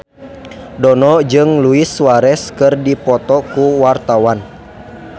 Dono jeung Luis Suarez keur dipoto ku wartawan